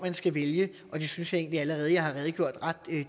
skal vælge og det synes jeg egentlig allerede jeg har redegjort ret